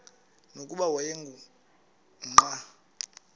nokuba wayengu nqal